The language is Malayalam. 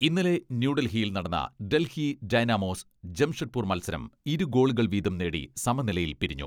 ഇന്നലെ ന്യൂഡൽഹിയിൽ നടന്ന ഡൽഹി ഡൈനാമോസ്, ജംഷഡ്പൂർ മത്സരം ഇരുഗോളുകൾ വീതം നേടി സമനിലയിൽ പിരിഞ്ഞു.